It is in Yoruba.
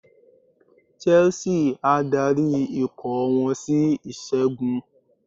Chelsea á darí ikọ̀ wọn sí ìṣẹ́gun.